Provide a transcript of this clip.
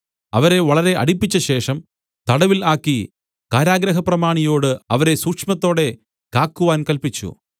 അവരെ വളരെ അടിപ്പിച്ചശേഷം തടവിൽ ആക്കി കാരാഗൃഹപ്രമാണിയോട് അവരെ സൂക്ഷ്മത്തോടെ കാക്കുവാൻ കല്പിച്ചു